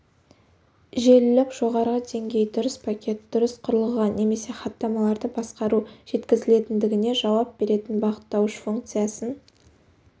желілік жоғары деңгей дұрыс пакет дұрыс құрылғыға немесе хаттамаларды басқару жеткізілетіндігіне жауап беретін бағыттауыш функциясын